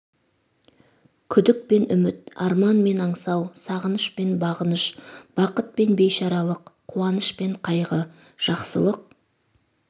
күдік пен үміт арман мен аңсау сағыныш пен бағыныш бақыт пен бейшаралық қуаныш пен қайғы жақсылық